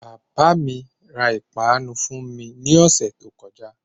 Bàbá mi ra ìpanu fún mi ní ọ̀sẹ́ tí ó kọjá.